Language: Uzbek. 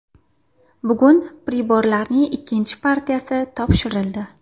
Bugun priborlarning ikkinchi partiyasi topshirildi.